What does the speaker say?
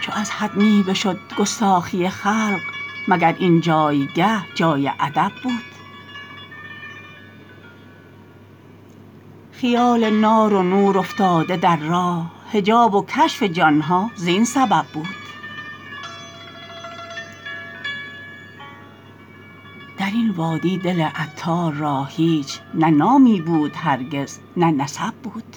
چو از حد می بشد گستاخی خلق مگر اینجایگه جای ادب بود خیال نار و نور افتاده در راه حجاب و کشف جان ها زین سبب بود درین وادی دل عطار را هیچ نه نامی بود هرگز نه نسب بود